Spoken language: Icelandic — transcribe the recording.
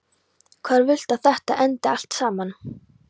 Hvar viltu að þetta endi allt saman?